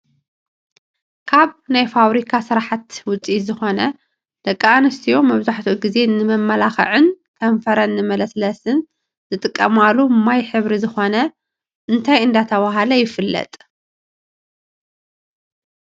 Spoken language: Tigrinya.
ካብ ናይ ፋርብሪካ ስራሕት ውፅኢት ዝኮነ ደቂ ኣንስትዮ መብዛሕቲኡ ግዜ ንመመላክዕን ከንፈረን ንመለሳለሲ ዝጥቀማሉ ማይ ሕብሪ ዝኮነ እንታይ እናተባህለ ይፍለጥ?